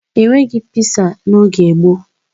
E nweghi piza n'oge gboo